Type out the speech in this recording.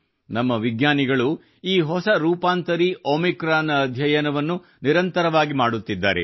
ನಮ್ಮ ವಿಜ್ಞಾನಿಗಳು ಈ ಹೊಸ ರೂಪಾಂತರಿ ಒಮಿಕ್ರಾನ್ ನ ಅಧ್ಯಯನವನ್ನು ನಿರಂತರವಾಗಿ ಮಾಡುತ್ತಿದ್ದಾರೆ